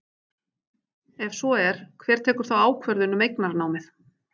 Ef svo er, hver tekur þá ákvörðun um eignarnámið?